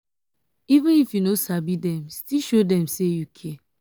even if you no sabi dem still show dem sey you care.